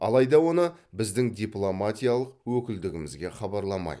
алайда оны біздің дипломатиялық өкілдігімізге хабарламайды